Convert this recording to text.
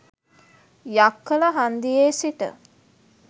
යක්කල හන්දියේ සිට